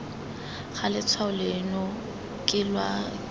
ga letshwao leno ke wa